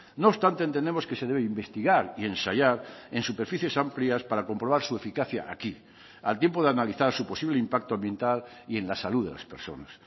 no obstante entendemos que se debe investigar y ensayar en superficies amplias para comprobar su eficacia aquí al tiempo de analizar su posible impacto ambiental y en la salud de las personas